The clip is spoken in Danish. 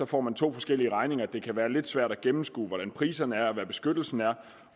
får man to forskellige regninger det kan være lidt svært at gennemskue hvordan priserne er og hvad beskyttelsen er